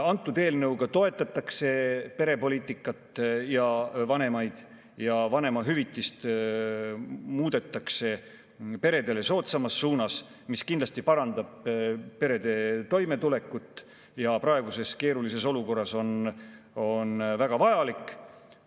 Selle eelnõuga toetatakse perepoliitikat ja vanemaid ja vanemahüvitist muudetakse peredele soodsamas suunas – see kindlasti parandab perede toimetulekut ja on praeguses keerulises olukorras väga vajalik.